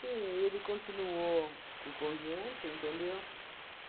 ele continuou com o conjunto, entendeu?